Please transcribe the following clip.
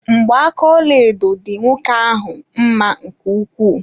Mgba aka ọlaedo dị nwoke ahụ mma nke ukwuu.